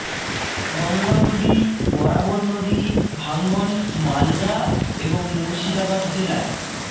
গঙ্গা নদী বরাবর নদী ভাঙ্গন মালদা এবং মুর্শিদাবাদ জেলায়